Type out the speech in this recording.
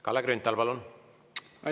Kalle Grünthal, palun!